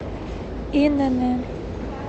инн